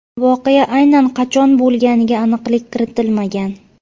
Voqea aynan qachon bo‘lganiga aniqlik kiritilmagan.